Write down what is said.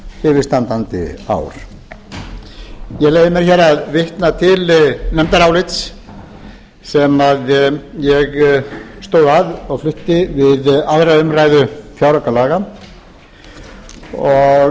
yfirstandandi ár ég leyfi mér að vitna til nefndarálits sem ég stóð að og flutti við aðra umræðu fjáraukalaga og